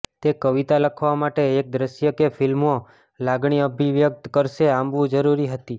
તે કવિતા લખવા માટે એક દ્રશ્ય કે ફિલ્મો લાગણી અભિવ્યક્ત કરશે આંબવું જરૂરી હતી